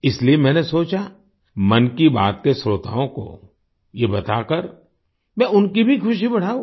इसलिए मैंने सोचा मन की बात के श्रोताओं को ये बताकर मैं उनकी भी खुशी बढाऊँ